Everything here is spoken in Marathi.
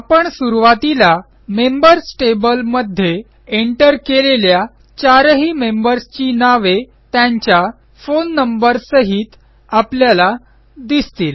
आपण सुरूवातीला मेंबर्स टेबल मध्ये एंटर केलेल्या चारही मेंबर्सची नावे त्यांच्या फोन नंबर सहित आपल्याला दिसतील